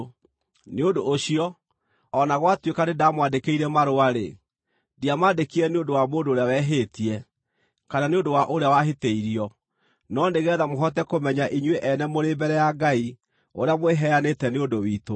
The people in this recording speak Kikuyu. Nĩ ũndũ ũcio, o na gwatuĩka nĩndamwandĩkĩire marũa-rĩ, ndiamaandĩkire nĩ ũndũ wa mũndũ ũrĩa wehĩtie, kana nĩ ũndũ wa ũrĩa wahĩtĩirio, no nĩgeetha mũhote kũmenya inyuĩ ene mũrĩ mbere ya Ngai ũrĩa mwĩheanĩte nĩ ũndũ witũ.